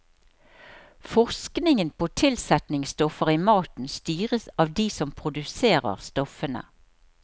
Forskningen på tilsetningsstoffer i maten styres av de som produserer stoffene.